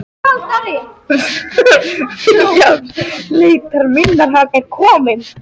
Vilhjálms leitar minnar Hann er kominn.